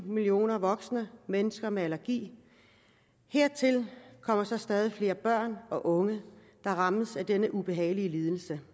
millioner voksne mennesker med allergi hertil kommer så stadig flere børn og unge der rammes af denne ubehagelige lidelse